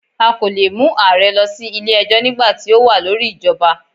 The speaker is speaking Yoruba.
A kò leè mu ààrẹ lọ sí Ilé ẹjọ́ nígbàti o wa lórí ìjọba